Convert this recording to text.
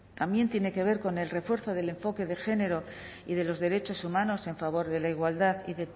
también tiene que ver con el refuerzo del enfoque de género y de los derechos humanos en favor de la igualdad